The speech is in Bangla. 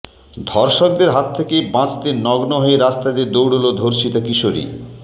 ধর্ষকদের হাত থেকে বাঁচতে নগ্ন হয়ে রাস্তা দিয়ে দৌড়ল ধর্ষিতা কিশোরী